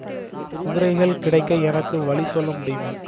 குதிரைகள் கிடைக்க எனக்கு வழி சொல்ல முடியுமா